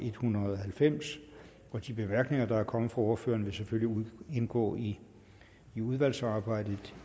en hundrede og halvfems de bemærkninger der er kommet fra ordførerne vil selvfølgelig indgå i udvalgsarbejdet